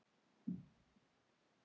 Ekki þarf ég að spyrja.